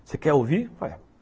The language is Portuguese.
Você quer ouvir? ué